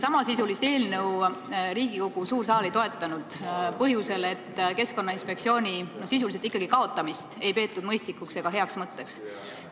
Samasisulist eelnõu ei toetanud Riigikogu suur saal põhjusel, et Keskkonnainspektsiooni sisulist kaotamist ei peetud mõistlikuks ega heaks mõtteks.